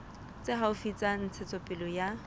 tse haufi tsa ntshetsopele ya